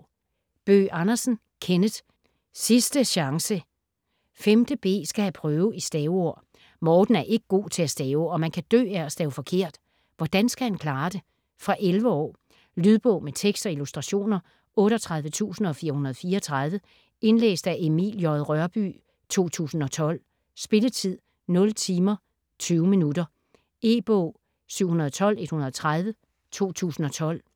Bøgh Andersen, Kenneth: Sisdæ sjangsæ 5.b skal have prøve i staveord. Morten er ikke god til at stave, og man kan dø af at stave forkert. Hvordan skal han klare det? Fra 11 år. Lydbog med tekst og illustrationer 38434 Indlæst af Emil J. Rørbye, 2012. Spilletid: 0 timer, 20 minutter. E-bog 712130 2012.